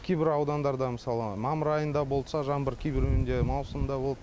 кейбір аудандарда мысалы мамыр айында болса жаңбыр кейбіреуінде маусымда болды